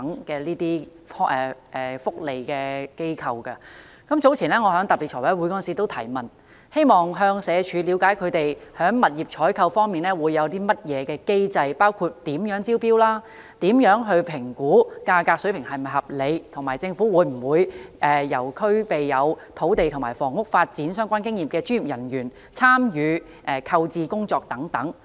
早前，我在財務委員會特別會議上提問，希望向社會福利署了解他們在物業採購方面有甚麼機制，包括如何招標、怎樣評估價格水平是否合理，以及政府會否由具有與土地和房屋發展相關經驗的專業人員參與購置工作等。